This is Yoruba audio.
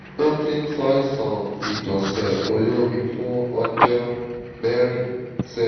ó ti ń ṣàìsàn ìgbọ̀nsẹ̀ olómi fún ọjọ́ mẹ́rin sẹ́yìn